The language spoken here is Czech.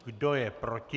Kdo je proti?